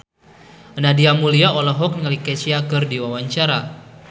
Nadia Mulya olohok ningali Kesha keur diwawancara